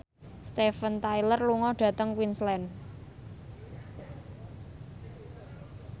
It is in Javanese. Steven Tyler lunga dhateng Queensland